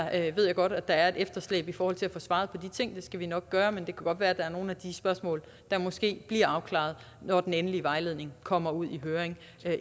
jeg ved godt at der er et efterslæb i forhold til at få svaret på de ting det skal vi nok gøre men det kan godt være at der er nogle af de spørgsmål der måske bliver afklaret når den endelige vejledning kommer ud i høring